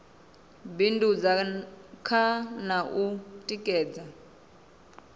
bindudza kha na u tikedza